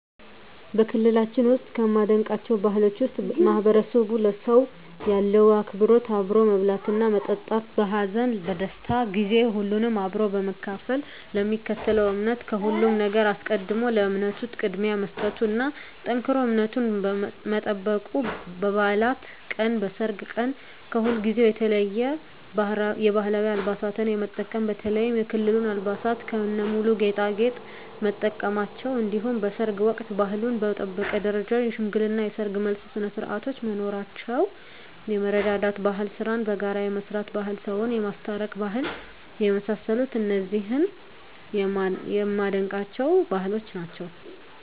በክልላችን ውስጥ ከማደንቃቸው ባህሎች ውስጥ ማህበረሰቡ ለሰው ያለው አክብሮት አብሮ መብላትና መጠጣት በሀዘን በደስታ ጊዜ ሁሉንም አብሮ በመካፈል ለሚከተለው እምነት ከሁሉም ነገር አስቀድሞ ለእምነቱ ቅድሚያ መስጠቱና ጠንክሮ እምነቱን መጠበቁ በባዕላት ቀን በሰርግ ቀን ከሁልጊዜው የተለየ የባህላዊ አልባሳትን የመጠቀም በተለይም የክልሉን አልባሳት ከነሙሉ ጌጣጌጥ መጠቀማቸው እንዲሁም በሰርግ ወቅት ባህሉን በጠበቀ ደረጃ የሽምግልና የሰርግ የመልስ ስነስርዓቶች መኖራቸው የመረዳዳት ባህል ስራን በጋራ የመስራት ባህል ሰውን የማስታረቅ ባህል የመሳሰሉት እነዚህ የማደንቃቸው ባህሎች ናቸዉ።